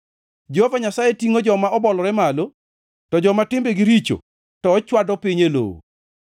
Jehova Nyasaye tingʼo joma obolore malo to joma timbegi richo to ochwado piny e lowo.